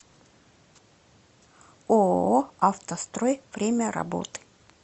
ооо автострой время работы